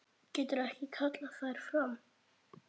Getur ekki kallað þær fram.